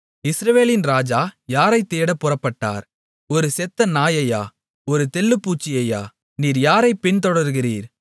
இஸ்ரவேலின் ராஜா யாரைத் தேடப் புறப்பட்டார் ஒரு செத்த நாயையா ஒரு தெள்ளுப்பூச்சியையா நீர் யாரைப் பின்தொடருகிறீர்